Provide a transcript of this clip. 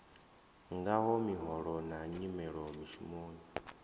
ngaho miholo na nyimelo mishumoni